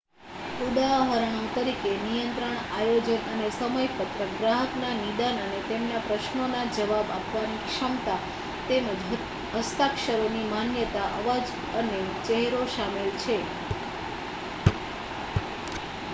ઉદાહરણો તરીકે નિયંત્રણ આયોજન અને સમયપત્રક ગ્રાહકના નિદાન અને તેમના પ્રશ્નોના જવાબ આપવાની ક્ષમતા તેમજ હસ્તાક્ષરોની માન્યતા અવાજ અને ચહેરો શામેલ છે